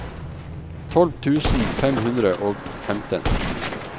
tolv tusen fem hundre og femten